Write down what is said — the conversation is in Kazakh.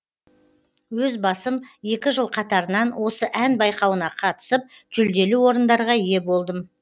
өз басым екі жыл қатарынан осы ән байқауына қатысып жүлделі орындарға ие болдым